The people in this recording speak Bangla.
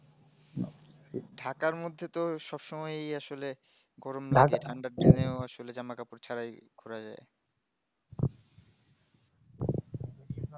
ঢাকার মধ্যে তো সব সময় আসলে গরম লাগে ঠান্ডার জন্যে ও আসলে জামা কাপড় ছাড়াই ঘোরা যায়